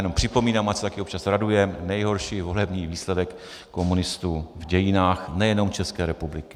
Jenom připomínám, ať se taky občas radujeme - nejhorší volební výsledek komunistů v dějinách nejenom České republiky.